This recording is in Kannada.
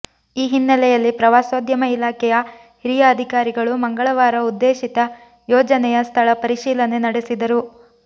ಈ ಹಿನ್ನೆಲೆಯಲ್ಲಿ ಪ್ರವಾಸೋದ್ಯಮ ಇಲಾಖೆಯ ಹಿರಿಯ ಅಧಿಕಾರಿಗಳು ಮಂಗಳವಾರ ಉದ್ದೇಶಿತ ಯೋಜನೆಯ ಸ್ಥಳ ಪರಿಶೀಲನೆ ನಡೆಸಿದರು